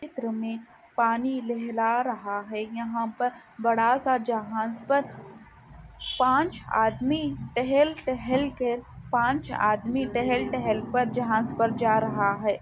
चित्र में पानी लहरा रहा है यहां पर बड़ा सा जहाज पर पांच आदमी टहल टहल कर पांच आदमी टहल टहल पर जहाज पर जा रहा है।